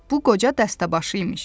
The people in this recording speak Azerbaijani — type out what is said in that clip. Bu qoca dəstəbaşı imiş.